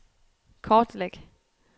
kortlæg